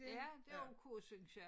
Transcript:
Ja det ok synes jeg